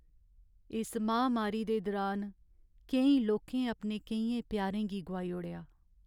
इस महामारी दे दुरान केईं लोकें अपने केइयें प्यारें गी गोआई ओड़ेआ।